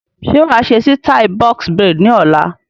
Ṣé wàá ṣe sítai "Box braids" ni ọ̀la?